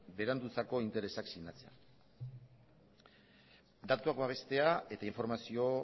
berandutzako interesak sinatzean datuak babestea eta